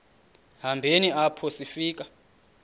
hambeni apho sifika